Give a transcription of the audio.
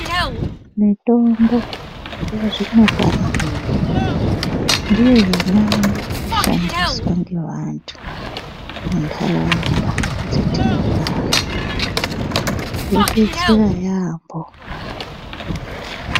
Mitombo yazvino pano iyi ndiyo yonyanya kushandiswa ngevantu muntaraunda dzetinogara, yobetsera yaambo.